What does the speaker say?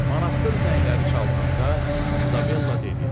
Manastır zəngləri çalınanda İzabella dedi: